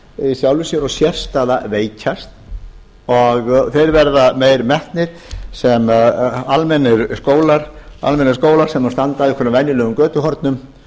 í sjálfu sér og sérstaða veikjast og þeir verða meira metnir sem almennir skólar sem standa á einhverjum venjulegum götuhornum